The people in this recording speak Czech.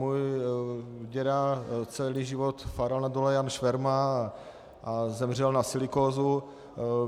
Můj děda celý život fáral na dole Jan Šverma a zemřel na silikózu.